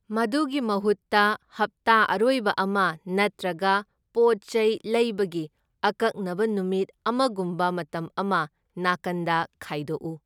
ꯃꯗꯨꯒꯤ ꯃꯍꯨꯠꯇ, ꯍꯞꯇꯥ ꯑꯔꯣꯏꯕ ꯑꯃ ꯅꯠꯇ꯭ꯔꯒ ꯄꯣꯠ ꯆꯩ ꯂꯩꯕꯒꯤ ꯑꯀꯛꯅꯕ ꯅꯨꯃꯤꯠ ꯑꯃꯒꯨꯝꯕ ꯃꯇꯝ ꯑꯃ ꯅꯥꯀꯟꯗ ꯈꯥꯏꯗꯣꯛꯎ꯫